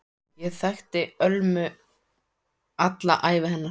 Ég þekkti Ölmu alla ævi hennar.